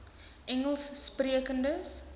engelssprekendes